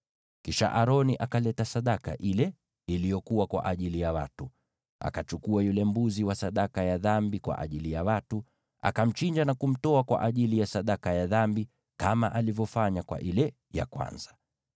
Kisha Aroni akaleta sadaka ile iliyokuwa kwa ajili ya watu. Akachukua yule mbuzi wa sadaka ya dhambi kwa ajili ya watu, akamchinja na kumtoa kwa ajili ya sadaka ya dhambi, kama alivyofanya kwa ile ya kwanza.